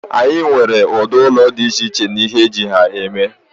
anyị nwere ụdị ụlọ dị iche iche na ihe eji ha eme